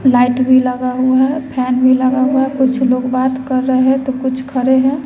Light भी लगा हुआ है फैन भी लगा हुआ है कुछ लोग बात कर रहे तो कुछ खरे है।